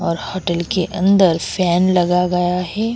और होटेल के अंदर फॅन लगा गया है।